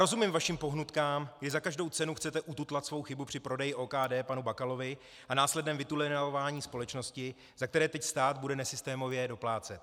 Rozumím vašim pohnutkám, že za každou cenu chcete ututlat svou chybu při prodeji OKD panu Bakalovi a následném vytunelování společnosti, za které teď stát bude nesystémově doplácet.